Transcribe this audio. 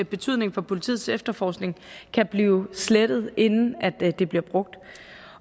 betydning for politiets efterforskning kan blive slettet inden de bliver brugt